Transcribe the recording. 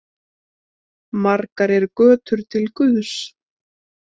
Margar eru götur til guðs.